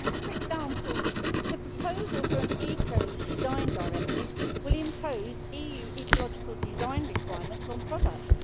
For example, the proposal for an eco design directive will impose EU ecological design requirements on products.